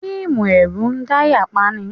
Fíìmù ẹ̀rù ń dáyà pani.